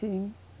Sim.